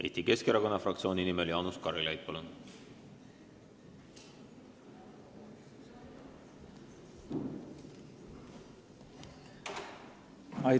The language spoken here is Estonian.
Eesti Keskerakonna fraktsiooni nimel Jaanus Karilaid, palun!